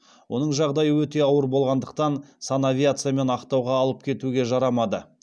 оның жағдайы өте ауыр болғандықтан санавиациямен ақтауға алып кетуге жарамады